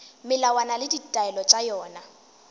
melawana le ditaelo tša yona